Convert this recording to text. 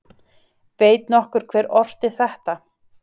Veit nokkur hver orti þetta????